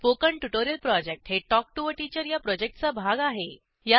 spoken tutorial project हे talk to teacher या प्रॉजेक्टचा भाग आहे